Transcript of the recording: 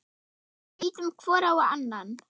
Við ýtum hvor á annan.